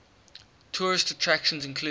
tourist attractions include